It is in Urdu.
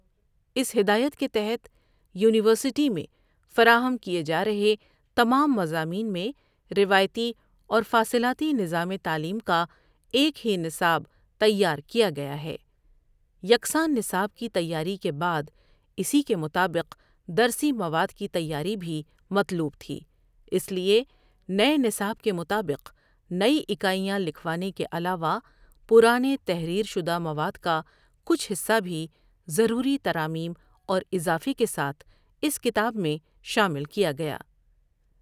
اس ہدایت کےتحت یونیورسٹی میں فرا ہم کیے جارہے تمام مضامین میں روایتی اور فاصلاتی نظام تعلیم کا ایک ہی نصاب تیار کیا گیا ہے۔ یکساں نصاب کی تیاری کے بعد اسی کے مطابق درسی مواد کی تیاری بھی مطلوب تھی۔